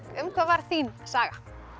um hvað var þín saga